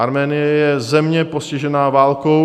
Arménie je země postižená válkou.